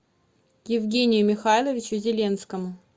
евгению михайловичу зеленскому